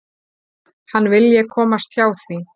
Hann vilji komast hjá því.